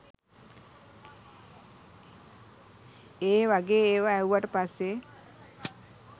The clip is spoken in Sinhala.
ඒ වගේ ඒවා ඇහුවට පස්සේ